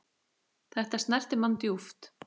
Þetta snerti mann djúpt.